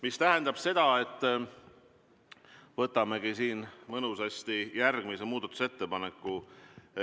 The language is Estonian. See tähendab seda, et võtame mõnusasti ette järgmise muudatusettepaneku.